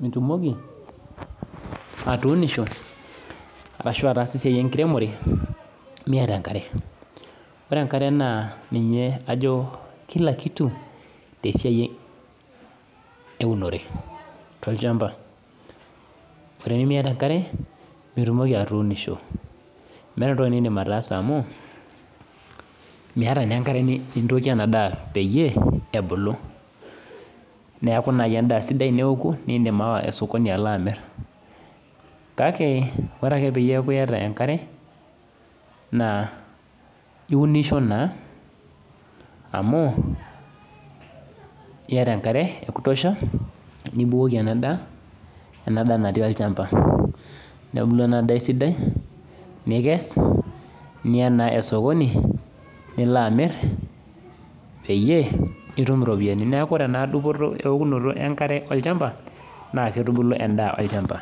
nitumoki atuunisho ashu ataasa esiai enkiremore Miata enkare, ore enkare naa ninye ajo kila kitu te siai eunore tolchamba, ore pee Miata enkare, mitumoki atuunisho meata entoki niindim ataasa amu Miata naa enkare nintookie ena daa pee ebulu neaku naaji endaa sidai teneoku, naa indim aawa esokoni ashomo alo amir, kale ore ake peeko metaa iata enkare, naa iunisho naa amu iata enkare e kutosha nibukoki ena daa ena daa natii olchamba nebula ena daa esidai nikes, niyaa naa esokoni nilo amir peyie itum iropiani. Neaku ore ena okunoto enkare enkare olchamba naa keitubulu endaa olchamba.